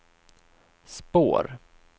spår